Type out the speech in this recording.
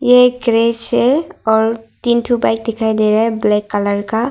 ए एक क्रेश है और तीन ठो बाइक दिखाई दे रहा है ब्लैक कलर का--